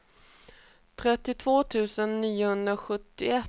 trettiotvå tusen niohundrasjuttioett